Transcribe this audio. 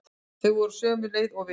Þeir voru á sömu leið og við.